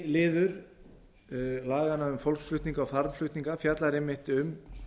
einn liður laganna um fólksflutninga og farmflutninga fjallar einmitt um